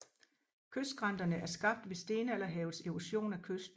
Kystskrænterne er skabt ved stenalderhavets erosion af kysten